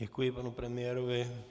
Děkuji panu premiérovi.